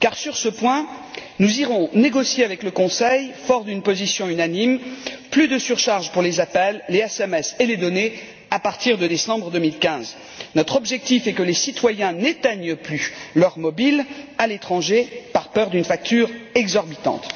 Sur ce point, en effet, nous irons négocier avec le Conseil forts d'une position unanime plus de surcharges pour les appels, les SMS et les données à partir de décembre2015. Notre objectif est que les citoyens n'éteignent plus leurs mobiles à l'étranger par peur d'une facture exorbitante.